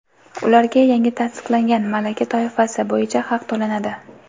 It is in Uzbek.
ularga yangi tasdiqlangan malaka toifasi bo‘yicha haq to‘lanadi.